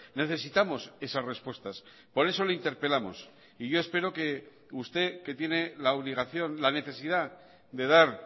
necesitamos esas respuestas por eso le interpelamos y yo espero que usted que tiene la obligación la necesidad de dar